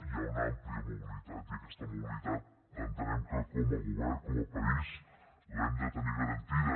hi ha una àmplia mobilitat i aquesta mobilitat entenem que com a govern com a país l’hem de tenir garantida